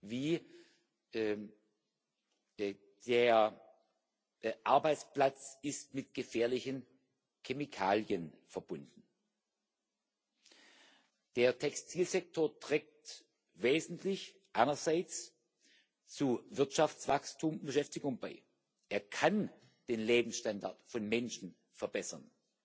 wie Der Arbeitsplatz ist mit gefährlichen Chemikalien verbunden. Der Textilsektor trägt wesentlich einerseits zu Wirtschaftswachstum und Beschäftigung bei. Er kann den Lebensstandard von Menschen verbessern,